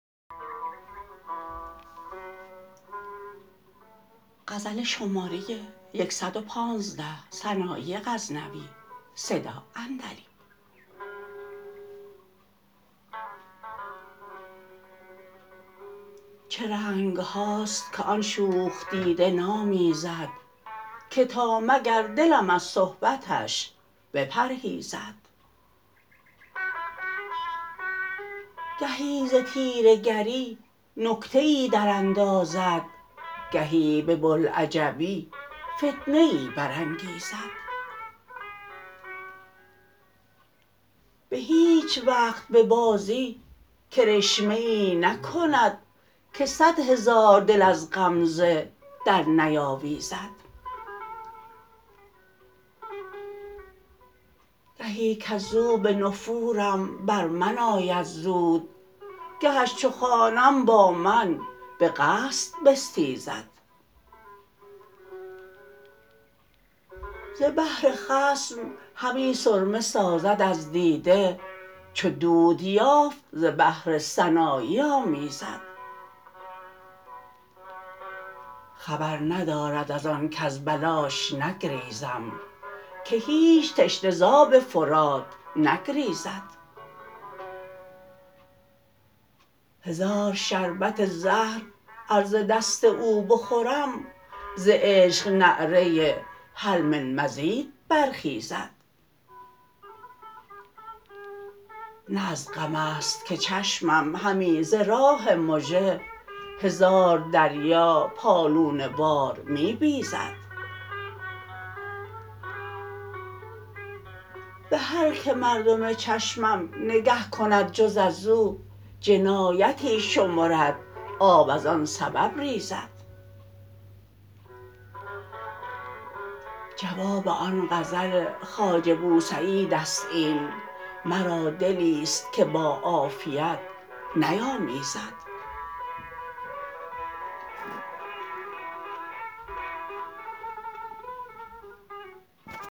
چه رنگ هاست که آن شوخ دیده نامیزد که تا مگر دلم از صحبتش بپرهیزد گهی ز طیره گری نکته ای دراندازد گهی به بلعجبی فتنه ای برانگیزد به هیچ وقت به بازی کرشمه ای نکند که صدهزار دل از غمزه درنیاویزد گهی کزو به نفورم بر من آید زود گهش چو خوانم با من به قصد بستیزد ز بهر خصم همی سرمه سازد از دیده چو دود یافت ز بهر سنایی آمیزد خبر ندارد از آن کز بلاش نگریزم که هیچ تشنه ز آب فرات نگریزد هزار شربت زهر ار ز دست او بخورم ز عشق نعره هل من مزید برخیزد نه از غمست که چشمم همی ز راه مژه هزار دریا پالونه وار می بیزد به هر که مردم چشمم نگه کند جز از او جنایتی شمرد آب ازان سبب ریزد جواب آن غزل خواجه بوسعید است این مرا دلیست که با عافیت نیامیزد